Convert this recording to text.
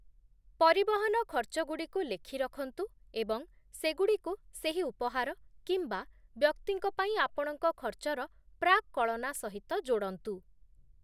ପରିବହନ ଖର୍ଚ୍ଚଗୁଡ଼ିକୁ ଲେଖି ରଖନ୍ତୁ ଏବଂ ସେଗୁଡ଼ିକୁ ସେହି ଉପହାର କିମ୍ବା ବ୍ୟକ୍ତିଙ୍କ ପାଇଁ ଆପଣଙ୍କ ଖର୍ଚ୍ଚର ପ୍ରାକ୍‌କଳନା ସହିତ ଯୋଡ଼ନ୍ତୁ ।